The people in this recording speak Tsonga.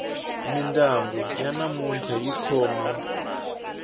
mindyangu ya namuntlha yi khome